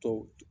Tɔw